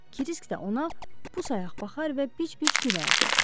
Krisk də ona busayaq baxar və bici-bici gülərdi.